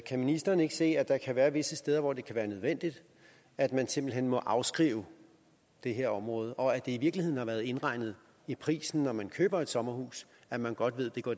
ministeren ikke se at der kan være visse steder hvor det kan være nødvendigt at man simpelt hen må afskrive det her område og at i virkeligheden har været indregnet i prisen når man køber et sommerhus at man godt ved det går